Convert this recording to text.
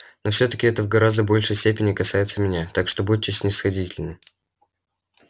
но всё-таки это в гораздо большей степени касается меня так что будьте снисходительны